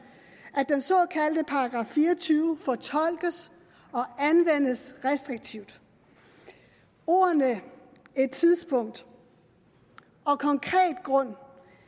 at den såkaldte § fire og tyve fortolkes og anvendes restriktivt ordene et tidspunkt og konkret grund